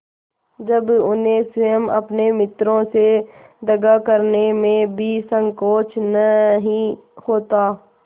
जब उन्हें स्वयं अपने मित्रों से दगा करने में भी संकोच नहीं होता